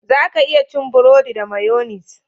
Za ka iya cin buredi da mayonis